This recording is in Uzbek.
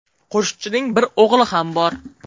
Qo‘shiqchining bir o‘g‘li ham bor.